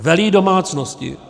Velí domácnosti.